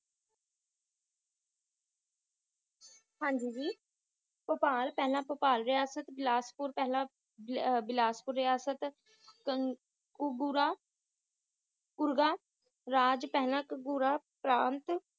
ਹਾਂਜੀ ਜੀ ਭੋਪਾਲ ਪਹਿਲਾਂ ਭੋਪਾਲ ਰਿਹਾਸਤ ਬਿਲਾਸਪੁਰ ਪਹਿਲਾਂ ਬਿਹਾ ਬਿਲਾਸਪੁਰ ਰਿਆਸਤ ਕੁਗੁਰਾ ਕੁਰਗਾ ਰਾਜ ਪਹਿਲਾਂ ਕੁਗੁਰਾ ਪ੍ਰਾਂਤ